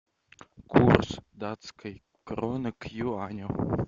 курс датской кроны к юаню